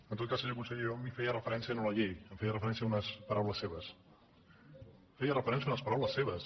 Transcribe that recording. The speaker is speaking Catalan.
en tot cas senyor conseller jo no feia referència a la llei feia referència a unes paraules seves feia referència a unes paraules seves